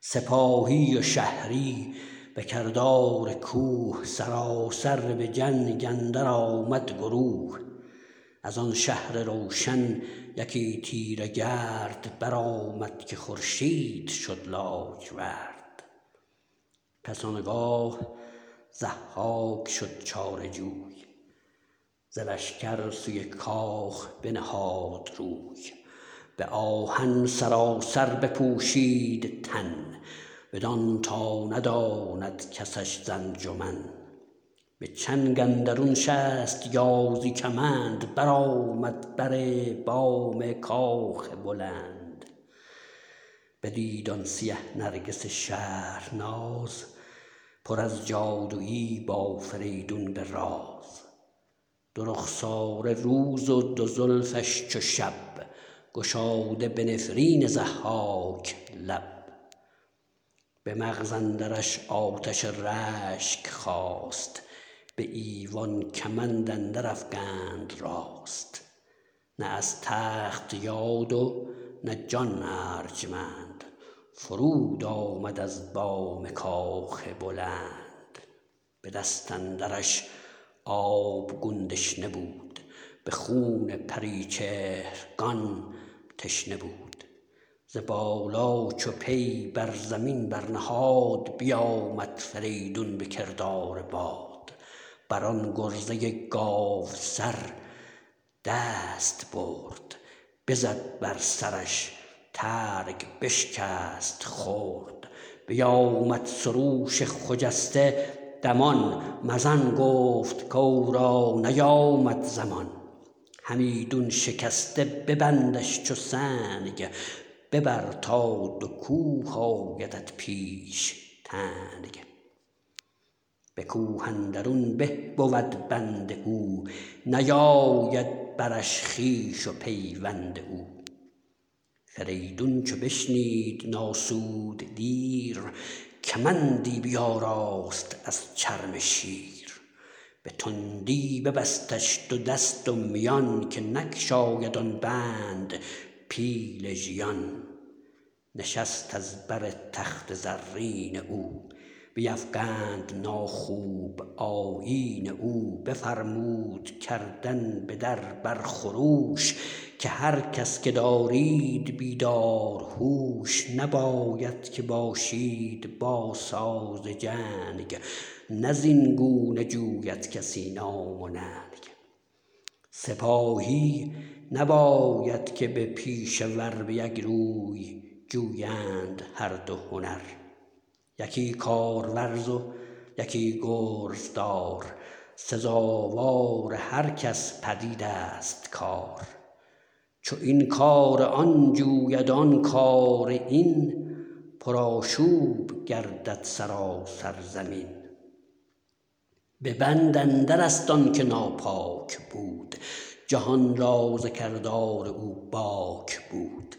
سپاهی و شهری به کردار کوه سراسر به جنگ اندر آمد گروه از آن شهر روشن یکی تیره گرد برآمد که خورشید شد لاجورد پس آنگاه ضحاک شد چاره جوی ز لشکر سوی کاخ بنهاد روی به آهن سراسر بپوشید تن بدان تا نداند کسش ز انجمن به چنگ اندرون شست یازی کمند برآمد بر بام کاخ بلند بدید آن سیه نرگس شهرناز پر از جادویی با فریدون به راز دو رخساره روز و دو زلفش چو شب گشاده به نفرین ضحاک لب به مغز اندرش آتش رشک خاست به ایوان کمند اندر افگند راست نه از تخت یاد و نه جان ارجمند فرود آمد از بام کاخ بلند به دست اندرش آبگون دشنه بود به خون پریچهرگان تشنه بود ز بالا چو پی بر زمین برنهاد بیآمد فریدون به کردار باد بر آن گرزه گاوسر دست برد بزد بر سرش ترگ بشکست خرد بیآمد سروش خجسته دمان مزن گفت کاو را نیامد زمان همیدون شکسته ببندش چو سنگ ببر تا دو کوه آیدت پیش تنگ به کوه اندرون به بود بند او نیاید برش خویش و پیوند او فریدون چو بشنید نآسود دیر کمندی بیاراست از چرم شیر به تندی ببستش دو دست و میان که نگشاید آن بند پیل ژیان نشست از بر تخت زرین او بیفگند ناخوب آیین او بفرمود کردن به در بر خروش که هر کس که دارید بیدار هوش نباید که باشید با ساز جنگ نه زین گونه جوید کسی نام و ننگ سپاهی نباید که با پیشه ور به یک روی جویند هر دو هنر یکی کارورز و یکی گرزدار سزاوار هر کس پدید است کار چو این کار آن جوید آن کار این پرآشوب گردد سراسر زمین به بند اندر است آن که ناپاک بود جهان را ز کردار او باک بود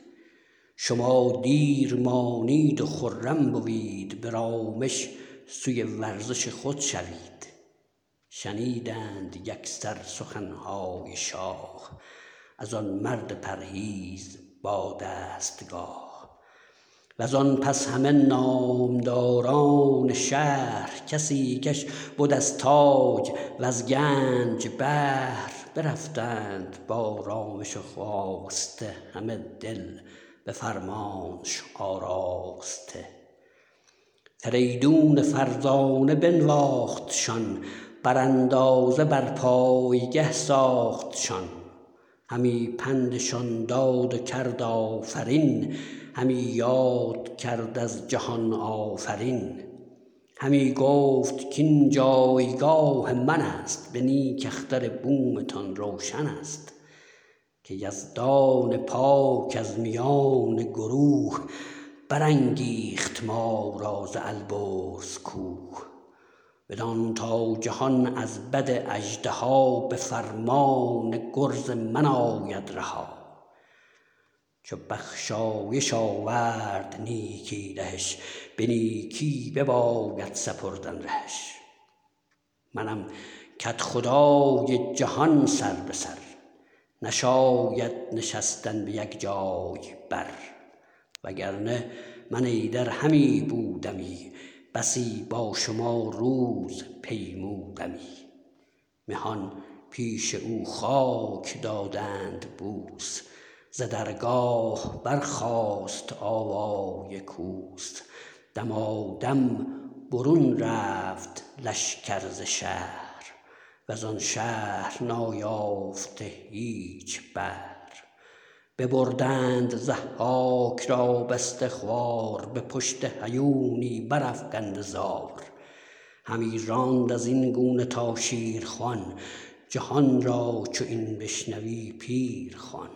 شما دیر مانید و خرم بوید به رامش سوی ورزش خود شوید شنیدند یکسر سخنهای شاه از آن مرد پرهیز با دستگاه وز آن پس همه نامداران شهر کسی کش بد از تاج وز گنج بهر برفتند با رامش و خواسته همه دل به فرمانش آراسته فریدون فرزانه بنواختشان بر اندازه بر پایگه ساختشان همی پندشان داد و کرد آفرین همی یاد کرد از جهان آفرین همی گفت کاین جایگاه من است به نیک اختر بومتان روشن است که یزدان پاک از میان گروه برانگیخت ما را ز البرز کوه بدان تا جهان از بد اژدها به فرمان گرز من آید رها چو بخشایش آورد نیکی دهش به نیکی بباید سپردن رهش منم کدخدای جهان سر به سر نشاید نشستن به یک جای بر وگر نه من ایدر همی بودمی بسی با شما روز پیمودمی مهان پیش او خاک دادند بوس ز درگاه برخاست آوای کوس دمادم برون رفت لشکر ز شهر وز آن شهر نایافته هیچ بهر ببردند ضحاک را بسته خوار به پشت هیونی برافگنده زار همی راند از این گونه تا شیرخوان جهان را چو این بشنوی پیر خوان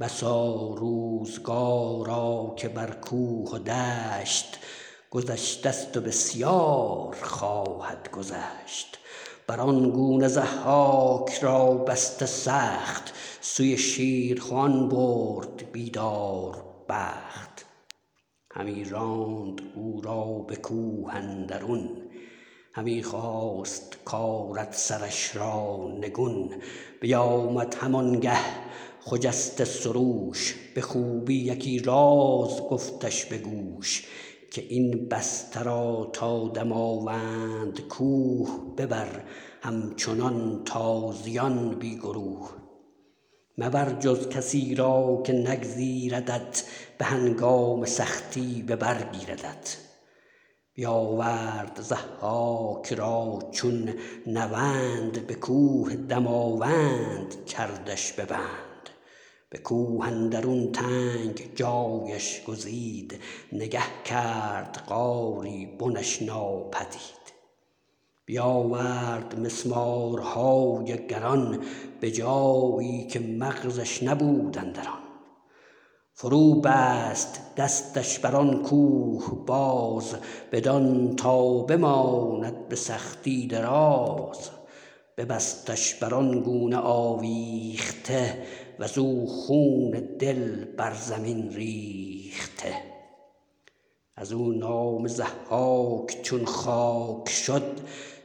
بسا روزگارا که بر کوه و دشت گذشته ست و بسیار خواهد گذشت بر آن گونه ضحاک را بسته سخت سوی شیرخوان برد بیداربخت همی راند او را به کوه اندرون همی خواست کآرد سرش را نگون بیآمد هم آن گه خجسته سروش به خوبی یکی راز گفتش به گوش که این بسته را تا دماوند کوه ببر همچنان تازیان بی گروه مبر جز کسی را که نگزیردت به هنگام سختی به بر گیردت بیآورد ضحاک را چون نوند به کوه دماوند کردش به بند به کوه اندرون تنگ جایش گزید نگه کرد غاری بنش ناپدید بیآورد مسمارهای گران به جایی که مغزش نبود اندران فرو بست دستش بر آن کوه باز بدان تا بماند به سختی دراز ببستش بر آن گونه آویخته وز او خون دل بر زمین ریخته از او نام ضحاک چون خاک شد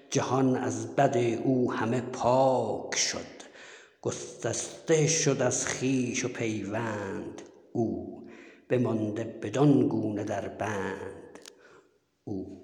جهان از بد او همه پاک شد گسسته شد از خویش و پیوند او بمانده بدان گونه در بند او